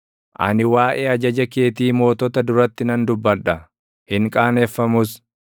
Ani waaʼee ajaja keetii mootota duratti nan dubbadha; hin qaaneffamus;